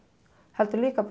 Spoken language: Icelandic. heldur líka